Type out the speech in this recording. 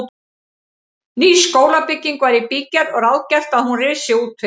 Ný skólabygging var í bígerð og ráðgert að hún risi útvið